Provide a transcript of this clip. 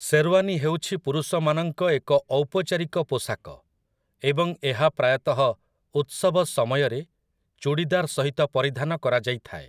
ଶେର୍‌ଓ୍ୱାନୀ ହେଉଛି ପୁରୁଷମାନଙ୍କ ଏକ ଔପଚାରିକ ପୋଷାକ, ଏବଂ ଏହା ପ୍ରାୟତଃ ଉତ୍ସବ ସମୟରେ ଚୂଡ଼ିଦାର୍ ସହିତ ପରିଧାନ କରାଯାଇଥାଏ ।